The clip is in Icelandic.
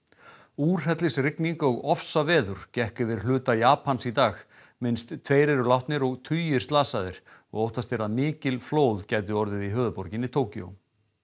úrhellisrigning og ofsaveður gekk yfir hluta Japans í dag minnst tveir eru látnir og tugir slasaðir og óttast er að mikil flóð gætu orðið í höfuðborginni Tokyo